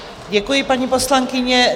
Děkuji, paní poslankyně.